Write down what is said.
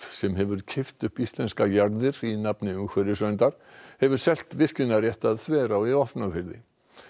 sem hefur keypt upp íslenskar jarðir í nafni umhverfisnefndar hefur selt virkjunarrétt að Þverá í Vopnafirði